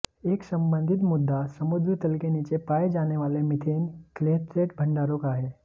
एक संबंधित मुद्दा समुद्र तल के नीचे पाए जाने वाले मीथेन क्लेथरेट भंडारों का है